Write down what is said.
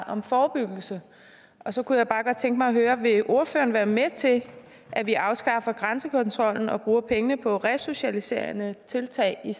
om forebyggelse og så kunne jeg bare godt tænke mig at høre vil ordføreren være med til at vi afskaffer grænsekontrollen og bruger pengene på resocialiserende tiltag i